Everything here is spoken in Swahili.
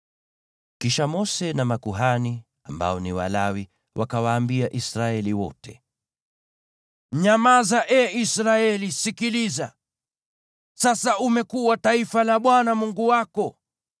Kisha Mose na makuhani, ambao ni Walawi, wakawaambia Israeli wote, “Nyamaza ee Israeli, sikiliza! Sasa umekuwa taifa la Bwana Mungu wako.